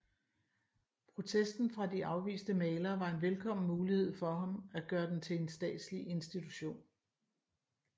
Protesten fra de afviste malere var en velkommen mulighed for ham at gøre den til en statslig institution